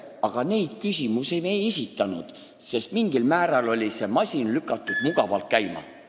Aga neid küsimusi me ei esitanud, sest mingil määral oli see masin mugavalt käima lükatud.